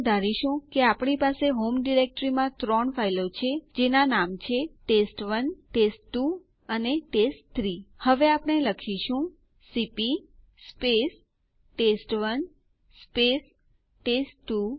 પરંતુ થોડા સમય માટે હું ડક તરીકે માત્ર ફુલ નામે દાખલ કરીશ અને બાકીની વિગતો ખાલી છોડી દો અને Enter કળ દબાવો